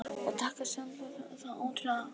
Og takast jafnvel það ótrúlega.